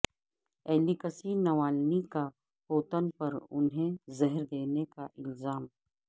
Alexei Navalny کا Putin پر انہیں زہر دینے کا الزام